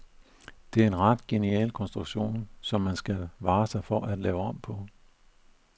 Det er en ret genial konstruktion, som man skal vare sig for at lave om på.